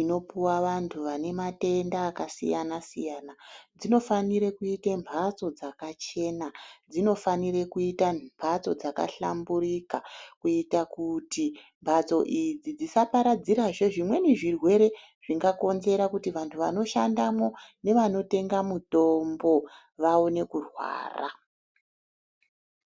inopuwa vantu vane matenda aka siyana siyana dzino fanire kuite mbatso dzaka chena dzino fanira kuita mbatso dzaka hlamburika kuita kuti mbatso idzi dzisa paradzira zve zvimweni zvirwere zvinga konzera kuti vantu vano shandemwo nevano tenga mutombo vaone kurwara.